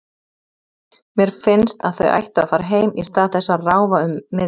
Mér finnst að þau ættu að fara heim í stað þess að ráfa um miðbæinn.